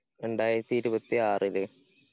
രണ്ടായിരത്തി ഇരുപത്തി ആറില്